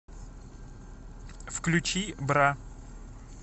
включи бра